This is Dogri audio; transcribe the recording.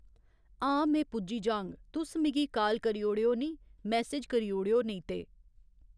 हां में पुज्जी जाह्ङ तुस मिगी काल करी ओड़ेओ निं मेसैज करी ओड़ेओ नेईं ते